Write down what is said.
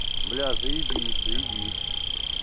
бля заебись заебись